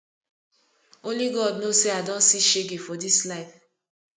only god know say i don see shege for dis life